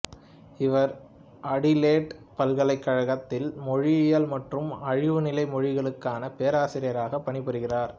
இவர் அடிலெயிட் பல்கலைக்கழகத்தில் மொழியியல் மற்றும் அழிவுநிலை மொழிகளுக்கான பேராசிரியாராகப் பணிபுரிகிறார்